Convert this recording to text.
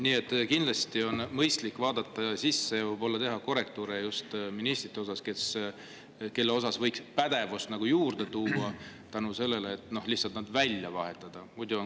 Nii et kindlasti on mõistlik vaadata sisse ja võib-olla teha korrektuure nende ministrite osas, kelle puhul võiks pädevust juurde tuua ehk siis nad lihtsalt välja vahetada.